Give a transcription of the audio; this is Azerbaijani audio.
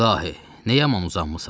İlahi, nə yaman uzanmısan?